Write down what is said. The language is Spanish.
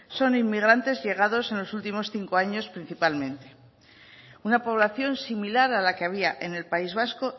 son inmigrantes llegados en los últimos cinco años principalmente una población similar a la que había en el país vasco